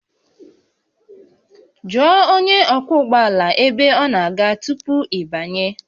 Jụọ onye ọkwọ ụgbọ ala ebe ọ na-aga tupu ị banye